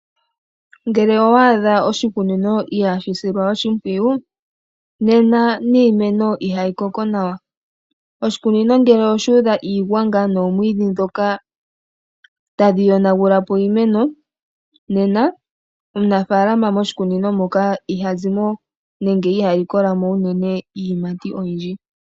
Ngele owa adha oshikunino ihaashi silwa oshimpwiyu nena niimeno ihayi koko nawa. Oshikunino ngele oshuudha iigwanga noomwiidhi ndhoka tadhi yonagula po iimeno. Nena omunafaalama moshikunino moka iha zimo nenge iha likola mo unene iiyimati oyindji.